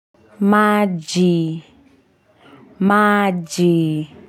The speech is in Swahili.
Maji, maji.